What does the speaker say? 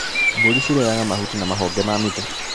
Mbũri cirĩiaga mahuti ma mahonge ma mĩtĩ.